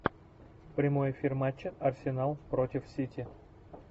прямой эфир матча арсенал против сити